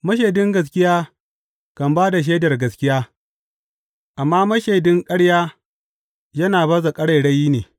Mashaidin gaskiya kan ba da shaidar gaskiya, amma mashaidin ƙarya yana baza ƙarairayi ne.